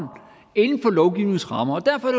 inden for lovgivningens rammer derfor er